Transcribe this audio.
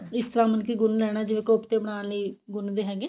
ਇਸ ਤਰ੍ਹਾਂ ਮਤਲਬ ਕੀ ਗੁੰਨ ਲੈਣਾ ਜਿਵੇਂ ਕੋਫਤੇ ਬਣਾਉਣ ਲਈ ਗੁੰਨਦੇ ਹੈਗੇ